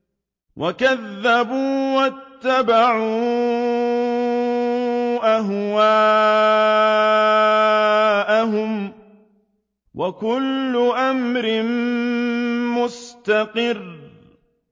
وَكَذَّبُوا وَاتَّبَعُوا أَهْوَاءَهُمْ ۚ وَكُلُّ أَمْرٍ مُّسْتَقِرٌّ